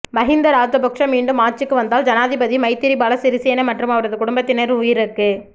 மஹிந்த ராஜபக்ஷ மீண்டும் ஆட்சிக்கு வந்தால் ஜனாதிபதி மைத்திரிபால சிறிசேன மற்றும் அவரது குடும்பத்தினரின் உயிருக்கு